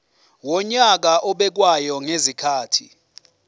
wonyaka obekwayo ngezikhathi